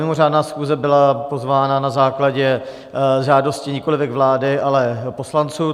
Mimořádná schůze byla svolána na základě žádosti nikolivěk vlády, ale poslanců.